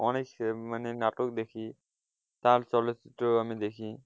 অনেক মানে নাটক দেখি, তার চলচ্চিত্র আমি দেখি,